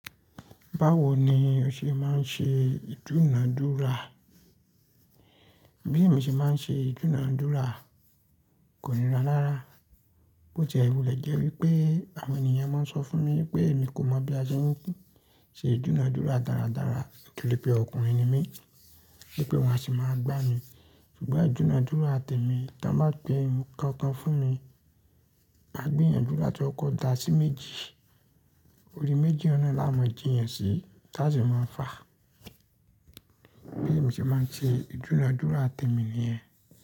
Báwo ni o ṣe máa ń ṣe ìdúnodúrà? Bí èmi ṣe máa ń ṣe ìdúnodúrà kòní ra rára. Bó tí ẹ̀ wulè jẹ́ wípé àwọn ènìyàn máa ń sọ fún mi wípé mi kò mọ̀ bí a ṣe ń ṣe ìdúnodúrà dáradára nítorí pé ọkùnrin ni mí, wípé wón a sì máa gbá mi. Ṣùgbọ́n ìdúnodúrà tẹ̀mí, tí wọ́n bá pé ohun kankan fún mi, máa gbìyànjú láti kọkọ dà sí méjì. Orí méjì ọ̀un nàa la ma jíyàn sí tá sì máa fà. Bí èmi ṣe máa ń ṣe ìdúnadúrà tẹ̀mí nìyẹn.